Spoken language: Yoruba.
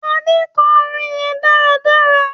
Ade kò orin yén dáradára